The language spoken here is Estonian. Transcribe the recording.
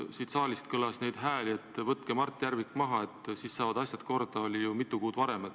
Siit saalist kõlas hääli, et võtke Mart Järvik maha, et siis saavad asjad korda, ju mitu kuud varem.